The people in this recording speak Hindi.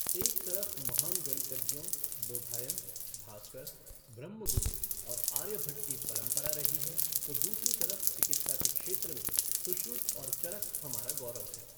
एक तरफ़ महान गणितज्ञों बोधायन, भास्कर, ब्रह्मगुप्त और आर्यभट्ट की परंपरा रही है तो दूसरी तरफ़ चिकित्सा के क्षेत्र में सुश्रुत और चरक हमारा गौरव हैं।